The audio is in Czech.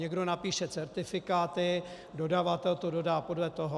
Někdo napíše certifikáty, dodavatel to dodá podle toho.